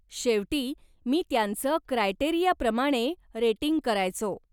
शेवटी, मी त्यांचं क्रायटेरियाप्रमाणे रेटिंग करायचो.